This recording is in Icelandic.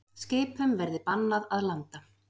Skipum verði bannað að landa